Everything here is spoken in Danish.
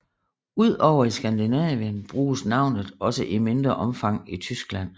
Ud over i Skandinavien bruges navnet også i mindre omfang i Tyskland